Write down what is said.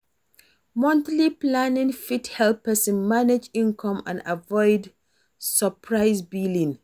Monthly planning fit help person manage income and avoid surprise billing